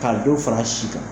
Ka dɔ fara si kan